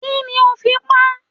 Kí ni ó fi pa á?